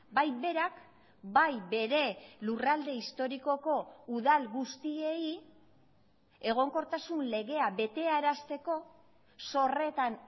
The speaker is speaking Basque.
bai berak bai bere lurralde historikoko udal guztiei egonkortasun legea betearazteko zorretan